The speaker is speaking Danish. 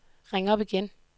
ring op igen